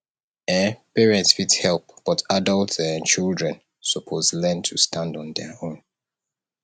um parents fit help but adult um children suppose learn to stand on dem own